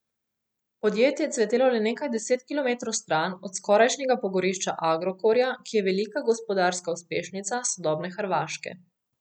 Podjetje je cvetelo le nekaj deset kilometrov stran od skorajšnjega pogorišča Agrokorja, ki je velika gospodarska uspešnica sodobne Hrvaške.